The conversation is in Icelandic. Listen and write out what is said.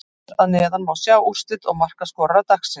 Hér að neðan má sjá úrslit og markaskorara dagsins: